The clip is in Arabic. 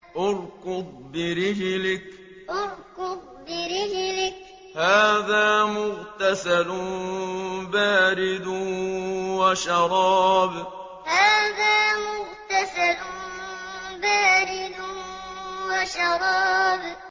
ارْكُضْ بِرِجْلِكَ ۖ هَٰذَا مُغْتَسَلٌ بَارِدٌ وَشَرَابٌ ارْكُضْ بِرِجْلِكَ ۖ هَٰذَا مُغْتَسَلٌ بَارِدٌ وَشَرَابٌ